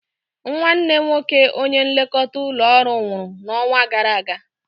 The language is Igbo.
Nnwanne nwoke onye nlekọta ụlọ ọrụ nwụrụ n'ọnwa gara aga.